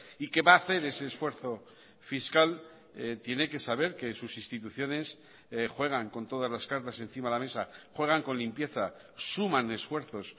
y que va a hacer ese esfuerzo fiscal tiene que saber que sus instituciones juegan con todas las cartas encima de la mesa juegan con limpieza suman esfuerzos